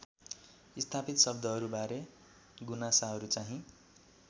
स्थापित शब्दहरूबारे गुनासाहरूचाहिँ